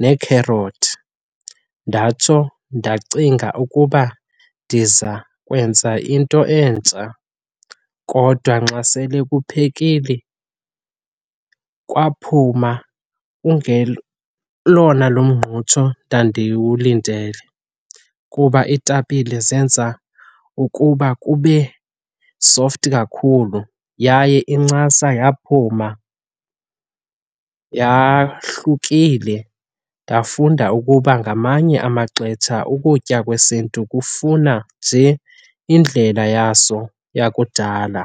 neekherothi, ndatsho ndacinga ukuba ndiza kwenza into entsha kodwa nxa sele kuphekile, kwaphuma elona lo mngqutsho ndandiwulindele kuba iitapile zenza ukuba kube soft kakhulu yaye incasa yaphuma yahlukile. Ndafunda ukuba ngamanye amaxetsha ukutya kwesintu kufuna nje indlela yaso yakudala.